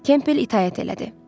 Kempel itaət elədi.